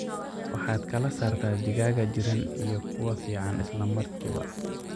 Waxaad kala saarta digaaga jiran iyo kuwa ficaan isla markiiba.